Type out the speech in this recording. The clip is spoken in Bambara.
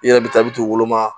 I yɛrɛ bi taa i bi t'u woloma